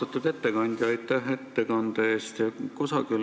Austatud ettekandja, aitäh ettekande eest!